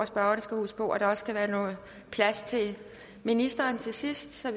spørgerne skal huske på at der også skal være noget plads til ministeren til sidst så